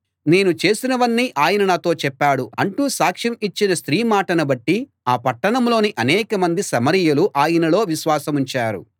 నేను చేసినవన్నీ ఆయన నాతో చెప్పాడు అంటూ సాక్ష్యం ఇచ్చిన స్త్రీ మాటను బట్టి ఆ పట్టణంలోని అనేక మంది సమరయులు ఆయనలో విశ్వాసముంచారు